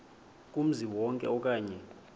kumzi wonke okanye